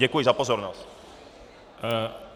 Děkuji za pozornost.